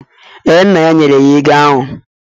Ee, nna ya nyere ya ego ahụ.